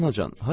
Hara anacan?